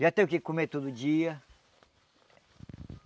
Já tenho o que comer todo dia.